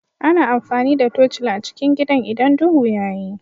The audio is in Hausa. Ana amfani da tocila a cikin gidan idan duhu ya yi